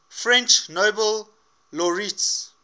french nobel laureates